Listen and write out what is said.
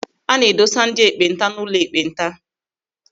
A na-edosa ndị ekpenta n'ụlọ ekpenta.